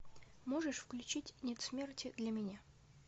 можешь включить нет смерти для меня